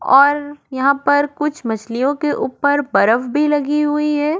और यहाँ पर कुछ मछलियों के ऊपर बर्फ भी लगी हुई है।